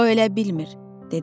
O elə bilmir, dedilər.